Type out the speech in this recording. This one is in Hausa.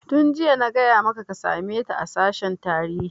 Tun jiya nace maka ka same ta a sashen tarihi!